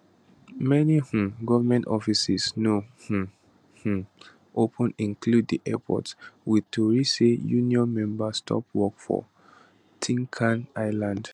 many um goment offices no um um open including di port wit tori say union members stop work for tincan island